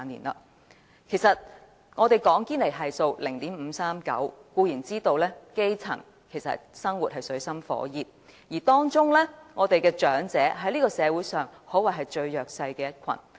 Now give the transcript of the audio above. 我們說現時堅尼系數是 0.539， 固然知道基層生活於水深火熱中，而當中，長者在社會上可謂最弱勢的一群。